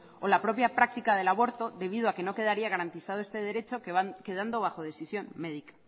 o la propia práctica del aborto debido a que no quedaría garantizado este derecho quedando bajo decisión médica